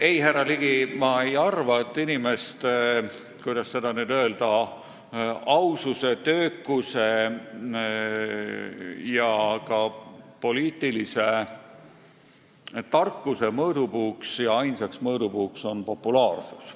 Ei, härra Ligi, ma ei arva, et inimeste, kuidas seda nüüd öelda, aususe, töökuse ja ka poliitilise tarkuse ainsaks mõõdupuuks on populaarsus.